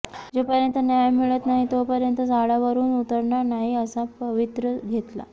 जोपर्यंत न्याय मिळत नाही तोपर्यंत झाडावरून उतरणार नाही असा पवित्रा घेतला